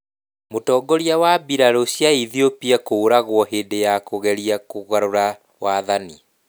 Mũtongoria wa mbiraru cia Ethiopia kũũragwo hĩndĩ ya kũgeria kũgarũra wathani